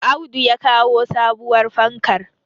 Audu ya kawo sabuwar fankar